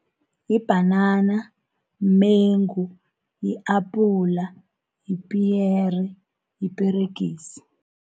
Yibhanana, mumengu, yi-apula, yipiyere, yiperegisi.